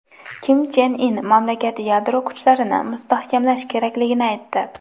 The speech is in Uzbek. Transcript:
Kim Chen In mamlakat yadro kuchlarini mustahkamlash kerakligini aytdi.